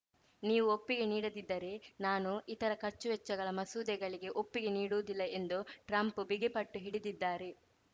ನೀವು ಒಪ್ಪಿಗೆ ನೀಡದಿದ್ದರೆ ನಾನು ಇತರ ಖರ್ಚುವೆಚ್ಚಗಳ ಮಸೂದೆಗಳಿಗೆ ಒಪ್ಪಿಗೆ ನೀಡುವುದಿಲ್ಲ ಎಂದು ಟ್ರಂಪ್‌ ಬಿಗಿಪಟ್ಟು ಹಿಡಿದಿದ್ದಾರೆ